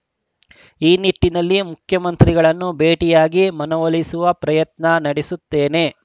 ಈ ನಿಟ್ಟಿನಲ್ಲಿ ಮುಖ್ಯಮಂತ್ರಿಗಳನ್ನು ಭೇಟಿಯಾಗಿ ಮನವೊಲಿಸುವ ಪ್ರಯತ್ನ ನಡೆಸುತ್ತೇನೆ